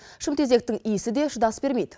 шымтезектің иісі де шыдас бермейді